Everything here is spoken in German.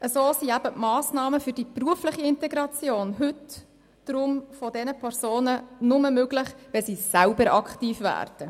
Deshalb sind die Massnahmen für die berufliche Integration dieser Personen heute nur möglich, wenn sie selber aktiv werden.